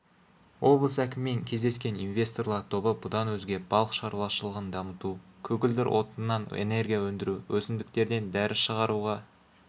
облыс әкімімен кездескен инвесторлар тобы бұдан өзге балық шаруашылығын дамыту көгілдір отыннан энергияөндіру өсімдіктерден дәрі шығаруға